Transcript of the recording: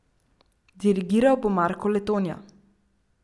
Dirigiral bo Marko Letonja.